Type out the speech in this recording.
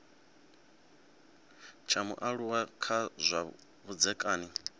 tsha mualuwa kha zwa vhudzekani